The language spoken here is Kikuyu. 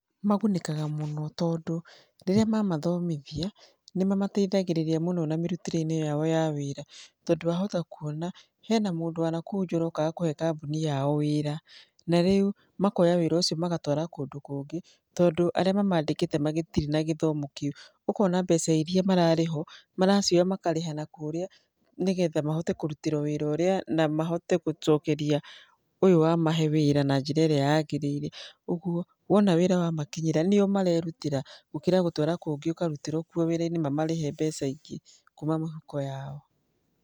Magunĩkaga mũno tondũ rĩrĩa mamathomithia, nĩ mamateithagĩrĩria mũno na mĩrutĩre-inĩ yao ya wĩra. Tondũ wahota kuona hena mũndũ wa kũu nja ũrokaga kũhe kambuni yao wĩra, na rĩu makoya wĩra ũcio magatũara kũndũ kũngĩ, tondũ arĩa mamandĩkĩte matirĩ na gĩthomo kĩu. Ũkona mbeca irĩa mararĩhwo maroya makarĩha nakũrĩa nĩgetha mahote kũrutĩra wĩra ũrĩa na mahote gũcokeria ũyũ wamahe wĩra na njĩra ĩrĩa yagĩriire. Ũguo wona wĩra wamakinyĩra nĩ o marerutĩra, gũkĩra gũtwara kũngĩ ũkarutĩrwo kuo wĩra-inĩ mamarĩhe mbeca ingĩ kuuma mĩhuko yao.